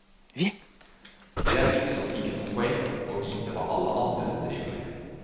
Det er liksom ikke noe poeng å vite hva alle andre driver med.